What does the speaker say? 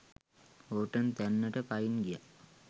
Horton තැන්නට පයින් ගියා.